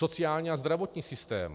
Sociální a zdravotní systém.